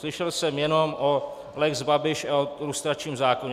Slyšel jsem jenom o lex Babiš a o lustračním zákoně.